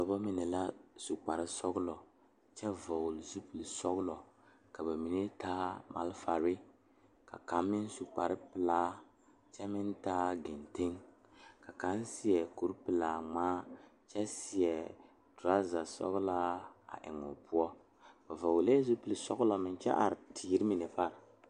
Dɔɔba mine la su kpare sɔglɔ ka bamine su kpare wogre ka bamine su kpare ziiri ka bamine su kpare sɔglɔ ka bamine seɛ kuri wogre ka ba de sabulɔ a tuŋ eŋ tene zie poɔ.